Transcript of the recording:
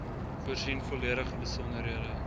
voorsien volledige besonderhede